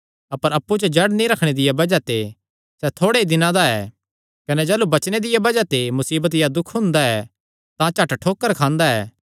अपर अप्पु च जड़ नीं रखणे दिया बज़ाह ते सैह़ थोड़े ई दिनां दा ऐ कने जाह़लू वचने दिया बज़ाह ते मुसीबत या दुख हुंदा ऐ तां झट ठोकर खांदा ऐ